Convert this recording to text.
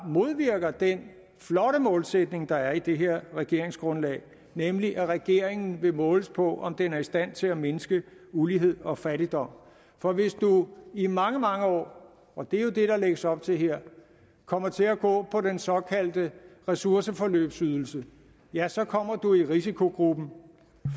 modvirker den flotte målsætning der er i det her regeringsgrundlag nemlig at regeringen vil måles på om den er i stand til at mindske ulighed og fattigdom for hvis du i mange mange år og det er jo det der lægges op til her kommer til at gå på den såkaldte ressourceforløbsydelse ja så kommer du i risikogruppen